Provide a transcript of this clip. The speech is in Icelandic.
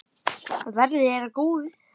Verði þér að góðu.